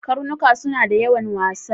Karnuka suna da yawan wasa.